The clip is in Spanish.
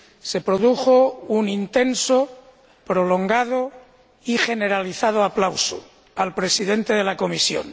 Se produjo un intenso, prolongado y generalizado aplauso al Presidente de Comisión.